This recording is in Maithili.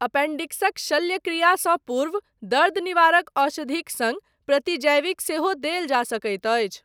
एपेंडिक्सक शल्यक्रियासँ पूर्व दर्द निवारक औषधिक सङ्ग प्रतिजैविक सेहो देल जा सकैत अछि।